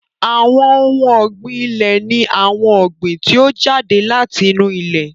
Àwọn ohun ọ̀gbìn ilẹ̀ ni àwọn ọ̀gbìn tí ó jáde láti inú ilẹ̀